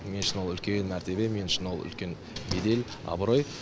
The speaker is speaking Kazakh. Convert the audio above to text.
мен үшін ол үлкен мәртебе мен үшін ол үлкен бедел абырой